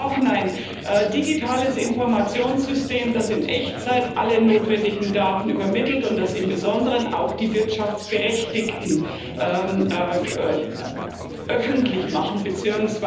Wir brauchen ein digitales Informationssystem, das in Echtzeit alle notwendigen Daten übermittelt und das im Besonderen auch die Wirtschaftsberechtigten öffentlich macht bzw.